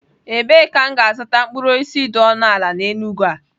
Ebee ka m ga-azụta mkpụrụ osisi dị ọnụ ala n'Enugwu a?